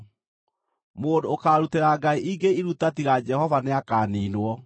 “Mũndũ ũkaarutĩra ngai ingĩ iruta tiga Jehova nĩakaniinwo.